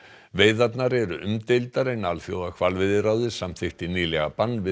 veiðarnar eru umdeildar en Alþjóðahvalveiðiráðið samþykkti nýlega bann við